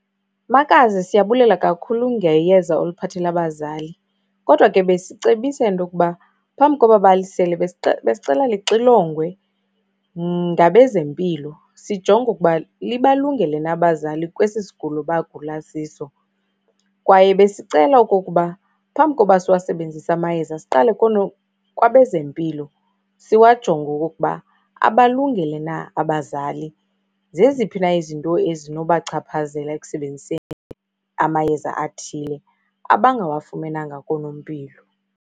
Makazi, siyabulela kakhulu ngeyeza oliphathelele abazali kodwa ke besicebisa into yokuba phambi koba balisele, besicela lixilongiwe ngabezempilo sijonge ukuba libalungele na abazali kwesi sigulo abagula siso. Kwaye besicela okokuba phambi koba siwasebenzise amayeza siqale kwabezempilo, siwajonge okokuba abalungele na abazali. Zeziphi na izinto ezinobachaphazela ekusebenziseni amayeza athile, abangawafumenanga koonompilo?